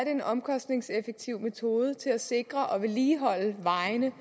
en omkostningseffektiv metode til at sikre og vedligeholde vejene